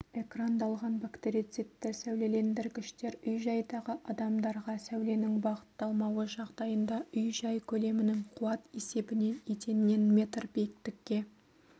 экрандалған бактерицидті сәулелендіргіштер үй-жайдағы адамдарға сәуленің бағытталмауы жағдайында үй-жай көлемінің қуат есебінен еденнен метр биіктікке